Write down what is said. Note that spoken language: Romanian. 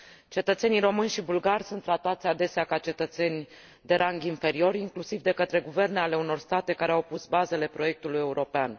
Cetățenii români și bulgari sunt tratați adesea ca cetățeni de rang inferior, inclusiv de către guverne ale unor state care au pus bazele proiectului european.